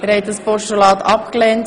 Sie haben das Postulat abgelehnt.